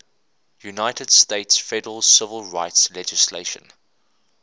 united states federal civil rights legislation